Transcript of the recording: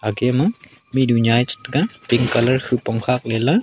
akema mihnyu nyae chetega pink colour khopong khak leley.